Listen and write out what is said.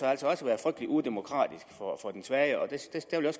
altså også være frygtelig udemokratisk for den svage jeg